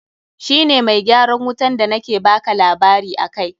Shi ne mai gyaran wutan da na ke baka labari akai.